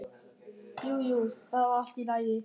Jú, jú, það var allt í lagi.